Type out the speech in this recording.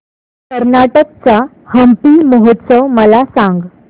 कर्नाटक चा हम्पी महोत्सव मला सांग